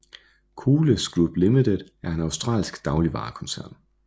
Coles Group Limited er en australsk dagligvarekoncern